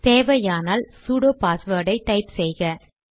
தேவையானால் sudo password type செய்க